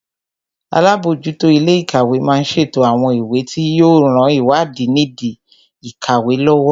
Alábòójútó ilé ìkàwé má ń ṣètò àwọn ìwé tí yóò ran ìwádìí nìdí ìkàwé lọ́wọ́